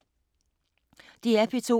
DR P2